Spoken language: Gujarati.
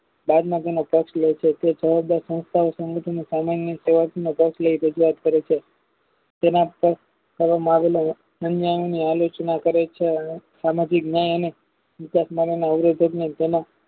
તે જવાબદાર સંસ્થાઓ સામાન્ય પ્રયાસ માં તરીકે યાદ કરે છે તેના પરમ આવેલા આલોકના કરે છે સામાજિક જ્ઞાન અને અવરોધકના